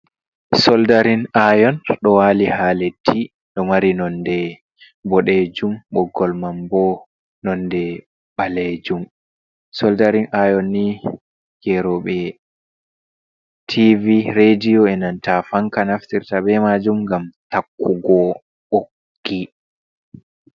"Soldarin ayon"ɗo wali ha leɗɗi ɗo mari nonde boɗejum boggol man bo nonde ɓalejum soldarin ayon ni geroɓe tv rediyo enanta fanka naftirta be majum ngam takkugo ɓoggi.